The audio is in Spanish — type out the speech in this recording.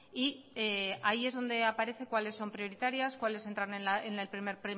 y ahí es donde aparece cuáles son prioritarias cuáles entran en el primer